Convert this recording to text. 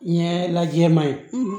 Ɲɛ lajɛ maɲi